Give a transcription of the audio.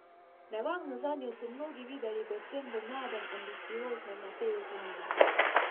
Nevarnost zanjo so mnogi videli predvsem v mladem, ambicioznem Mateju Toninu.